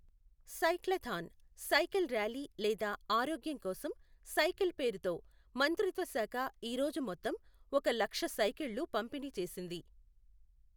cyclothon, cycle rally లేదా ఆరోగ్యం కోసం సైకిల్ పేరుతో మంత్రిత్వ శాఖ ఈ రోజు మొత్తం ఒక లక్ష సైకిళ్ళు పంపిణి చేసింది